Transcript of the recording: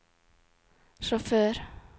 sjåfør